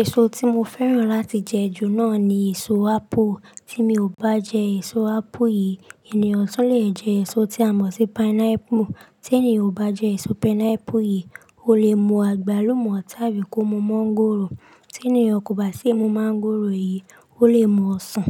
Èso tí mo fẹ́ràn láti jẹ ju náà ni èso ápù. Tí mi ò bá jẹ èso ápple yìí, ènìyàn tún le jẹ èso tí a mọ̀ sí pineapple. Tí ènìyàn ò bá jẹ èso pineapple yìí, ó lè mu àgbálùmọ́ tábí kó mu mọ́ngòrò. Tí ènìyàn kò bá sì mú mọ́ngòrò yìí, ó lè mu ọsàn.